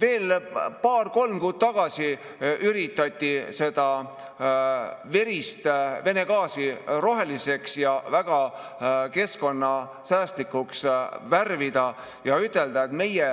Veel paar-kolm kuud tagasi üritati seda verist Vene gaasi roheliseks ja väga keskkonnasäästlikuks värvida ning ütelda, et meie